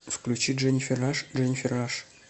включи дженифер раш дженифер раш